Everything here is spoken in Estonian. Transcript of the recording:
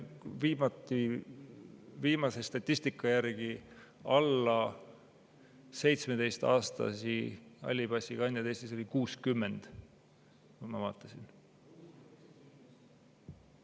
Viimase statistika järgi oli alla 17-aastasi halli passi omanikke Eestis 60, ma vaatasin.